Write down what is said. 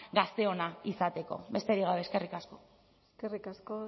gazteona izateko besterik gabe eskerrik asko eskerrik asko